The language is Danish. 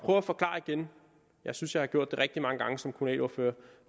på at forklare igen jeg synes jeg har gjort det rigtig mange gange som kommunalordfører